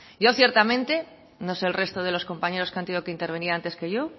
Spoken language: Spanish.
yo ciertamente no sé el resto de los compañeros que han tenido que intervenir antes que yo